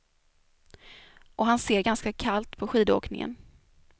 Och han ser ganska kallt på skidåkningen.